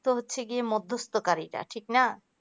তো হচ্ছে কি মধ্যস্থকারীরা ঠিক না